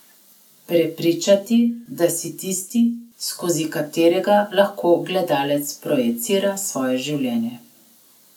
Prepričati, da si tisti, skozi katerega lahko gledalec projicira svoje življenje.